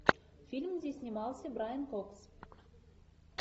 фильм где снимался брайан кокс